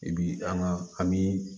I bi an ka an biii